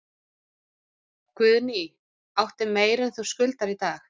Guðný: Áttu meira en þú skuldar í dag?